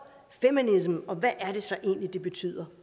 feminism og hvad er det så egentlig det betyder